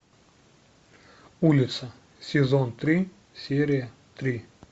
улица сезон три серия три